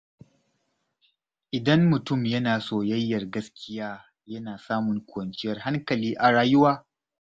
Idan mutum yana soyayyar gaskiya, yana samun kwanciyar hankali a rayuwa.